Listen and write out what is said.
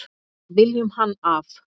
Viljum hann af.